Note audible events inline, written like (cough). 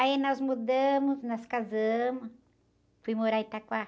Aí nós mudamos, nós casamos, fui morar em. (unintelligible)